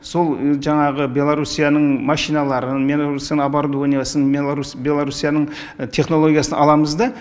сол жаңағы беларусияның машиналарын беларусияның оборудованиясын беларусияның технологиясын аламыз да